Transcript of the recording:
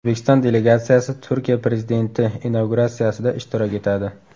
O‘zbekiston delegatsiyasi Turkiya prezidenti inauguratsiyasida ishtirok etadi.